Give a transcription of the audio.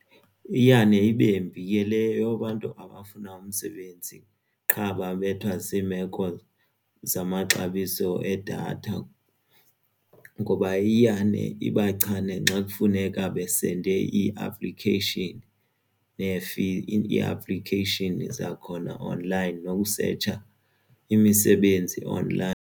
Iyane ibe mbi le yoba abantu abafuna umsebenzi qha babethwa ziimeko zamaxabiso edatha ngoba iyane ibachance nxa kufuneka basende ii-application nee-application zakhona online nokusetsha imisebenzi online.